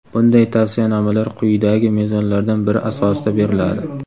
bunday tavsiyanomalar quyidagi mezonlardan biri asosida beriladi: .